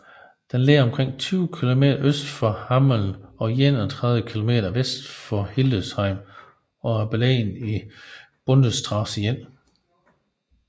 Den ligger omkring 20 km øst for Hameln og 31 km vest for Hildesheim og er beliggende ved Bundesstraße 1